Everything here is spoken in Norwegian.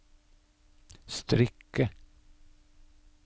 strikke